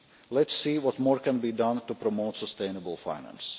Let us see what more can be done to promote sustainable finance.